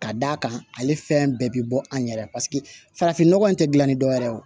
Ka d'a kan ale fɛn bɛɛ bi bɔ an yɛrɛ la paseke farafin nɔgɔ in tɛ gilan ni dɔw yɛrɛ ye wo